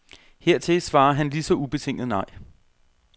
Hertil svarer han lige så ubetinget nej.